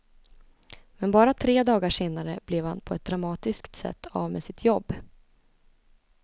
Men bara tre dagar senare blev han på ett dramatiskt sätt av med sitt jobb.